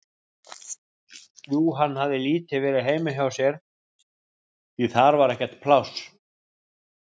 Jú, hann hafði lítið verið heima hjá sér, því að þar var ekkert pláss.